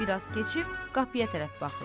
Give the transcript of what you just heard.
Bir az keçib qapıya tərəf baxır.